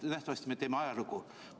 Nähtavasti me teeme ajalugu.